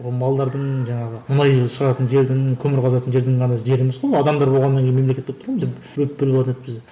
малдардың жаңағы мұнайдың шығатын жердің көмір қазатын жердің ғана жері емес қой адамдар болғаннан кейін мемлекет болып тұр мына жерде